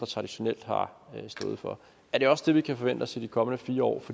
traditionelt har stået for er det også det vi kan forvente os i de kommende fire år